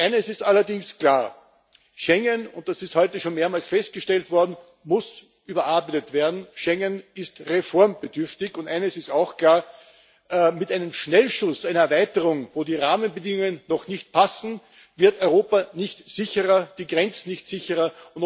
Eines ist allerdings klar Schengen, das ist heute schon mehrmals festgestellt worden, muss überarbeitet werden, Schengen ist reformbedürftig. Und klar ist auch Mit dem Schnellschuss einer Erweiterung, bei der die Rahmenbedingungen noch nicht passen, wird Europa nicht sicherer, die Grenzen werden nicht sicherer!